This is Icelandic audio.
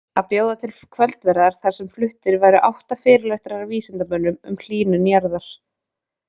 Að bjóða til kvöldverðar þar sem fluttir væru átta fyrirlestrar af vísindamönnum um hlýnun jarðar.